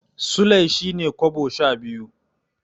Sulai shine kobo sha biyu.